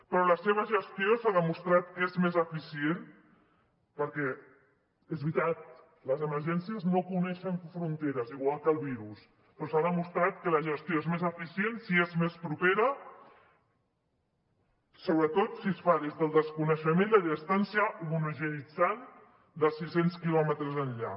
però la seva gestió s’ha demostrat que és més eficient perquè és veritat les emergències no coneixen fronteres igual que el virus però s’ha demostrat que la gestió és més eficient si és més propera sobretot si es fa des del desconeixement i a distància homogeneïtzant de sis cents quilòmetres enllà